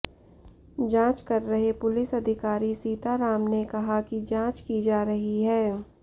जांच कर रहे पुलिस अधिकारी सीता राम ने कहा कि जांच की जा रही है